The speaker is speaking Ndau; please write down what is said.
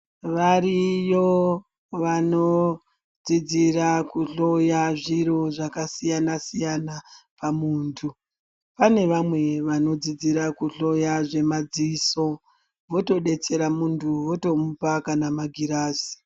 Variyo vanodzidzira kuhloya zviro zvakasiyana siyana pamuntu. Pane vamwe vanodzidzira kuhloya zvemadziso votodetsera muntu votomupa kana magirazi.